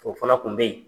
O fana kun be ye